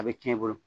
A bɛ cɛn i bolo